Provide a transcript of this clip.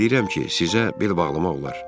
Hiss eləyirəm ki, sizə bel bağlamaq olar.